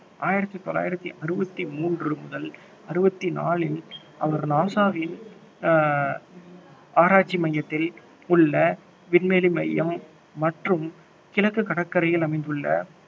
ஆயிரத்தி தொள்ளாயிரத்தி அறுபத்தி மூன்று முதல் அறுபத்தி நான்கில் அவர் நாசாவின் ஆஹ் ஆராய்ச்சி மையத்தில் உள்ள விண்வெளி மையம் மற்றும் கிழக்கு கடற்கரையில் அமைந்துள்ள